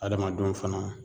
Adamadenw fana